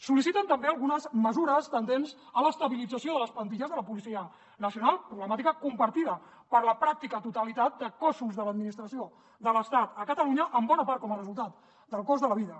sol·liciten també algunes mesures tendents a l’estabilització de les plantilles de la policia nacional problemàtica compartida per la pràctica totalitat de cossos de l’administració de l’estat a catalunya en bona part com a resultat del cost de la vida